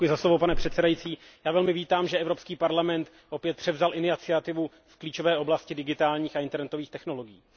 Pane předsedající, já velmi vítám, že Evropský parlament opět převzal iniciativu v klíčové oblasti digitálních a internetových technologiích.